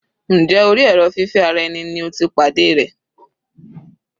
Njẹ́ orí èrò fífẹ́ ara ẹni ni o ti pàdé rẹ̀?